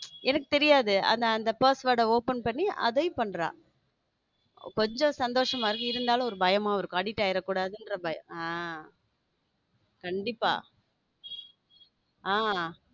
எனக்கு தெரியாது அந்த password open பண்ணி அதைவும் பண்ற கொஞ்சம் சந்தோஷமா இருக்கு இருந்தாலும் ஒரு பயமும் இருக்கும் addict ஆகிட கூடாது இன்னும் பயம ஹம் கண்டிப்ப ஹம்